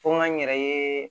Fo n ka n yɛrɛ ye